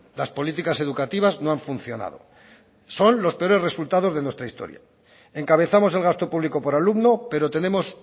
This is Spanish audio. las políticas educativas no han funcionado son los peores resultados de nuestra historia encabezamos el gasto público por alumno pero tenemos